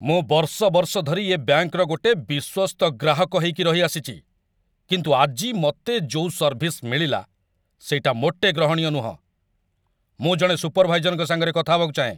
ମୁଁ ବର୍ଷ ବର୍ଷ ଧରି ଏ ବ୍ୟାଙ୍କ୍‌ର ଗୋଟେ ବିଶ୍ୱସ୍ତ ଗ୍ରାହକ ହେଇକି ରହିଆସିଚି, କିନ୍ତୁ ଆଜି ମତେ ଯୋଉ ସର୍ଭିସ୍ ମିଳିଲା, ସେଇଟା ମୋଟେ ଗ୍ରହଣୀୟ ନୁହଁ । ମୁଁ ଜଣେ ସୁପରଭାଇଜରଙ୍କ ସାଙ୍ଗରେ କଥା ହେବାକୁ ଚାହେଁ!